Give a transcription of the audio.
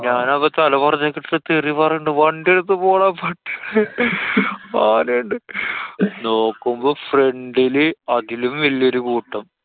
ഞാനപ്പൊ തല പോറത്തിക്കിട്ടിട്ടു തെറി പറയിണ്ട്. വണ്ടി എടുക്കു പോടാ ആനെണ്ട്. നോക്കുമ്പോ front ല് അതിലും വല്യെരു കൂട്ടം.